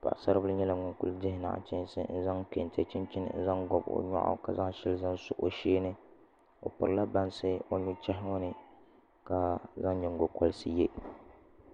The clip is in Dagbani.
paɣa sari bili nyɛla ŋun kuli dihi nachiinsi n zaŋ kɛntɛ chinchini n zaŋ gobi o nyoɣu ka zaŋ shɛli zaŋ so o sheeni o pirila bansi o nuchɛhi ŋo ni ka zaŋ nyingokoriti yɛ